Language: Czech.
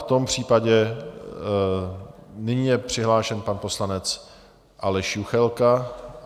V tom případě nyní je přihlášen pan poslanec Aleš Juchelka.